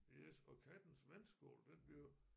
Yes og kattens vandskål den bliver